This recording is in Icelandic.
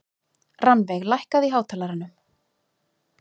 Rannveig, lækkaðu í hátalaranum.